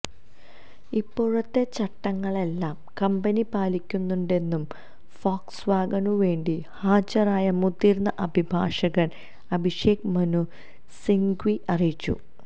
ഇപ്പോഴത്തെ ചട്ടങ്ങളെല്ലാം കമ്പനി പാലിക്കുന്നുണ്ടെന്നും ഫോക്സ്വാഗനുവേണ്ടി ഹാജരായ മുതിർന്ന അഭിഭാഷകൻ അഭിഷേക് മനു സിങ്വി അറിയിച്ചു